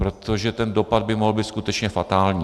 Protože ten dopad by mohl být skutečně fatální.